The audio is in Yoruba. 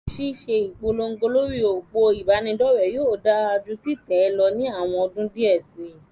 Ṣíṣe ìpolówó lórí òpó ìbánidọ́rẹ̀ yóò dáa ju títẹ̀ lọ ní àwọn ọdún díẹ̀ síi.